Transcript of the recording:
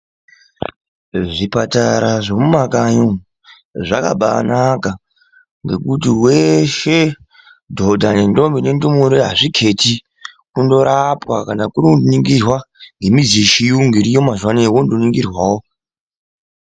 Zvipatara zvemuma kanyi umu zvakabanaka nekuti veshe dhodha, ngendombi ngendumure hazviketi. Kungorapwa kana kurikuningirwa ngemichini yechiyungu vongoningirwawo.